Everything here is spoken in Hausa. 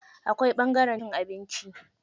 Akwai ɓangaren cin abinci.